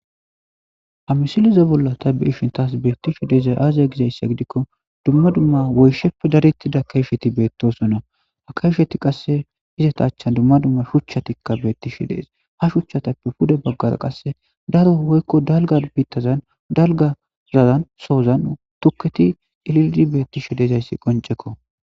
Ha misileze bolla ta be ishin taas beettishi dezay aaziya gizayssa gidikko dumma dumma woysheppe darittida kayfheti beettosonna ha kayfheti qasse izata chan dumma dumma shuchatikka beetti shi dees ha shuchchatappe puda baggara qasse daro woykko dalga biittazan dalgazazan soozan tukketi ililidi beetti shi dezayssi qoncekko